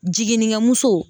Jiginikɛmuso.